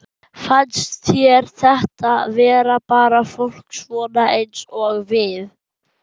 Fannst þér þetta vera bara fólk svona eins og við?